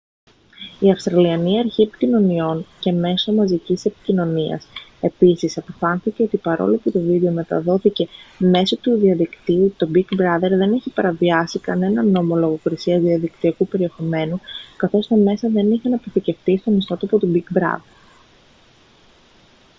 η αυστραλιανή αρχή επικοινωνιών και μέσω μαζικής επικοινωνίας επίσης αποφάνθηκε ότι παρόλο που το βίντεο μεταδόθηκε μέσω διαδικτύου το big brother δεν είχε παραβιάσει κανέναν νόμο λογοκρισίας διαδικτυακού περιεχομένου καθώς τα μέσα δεν είχαν αποθηκευτεί στον ιστότοπο του big brother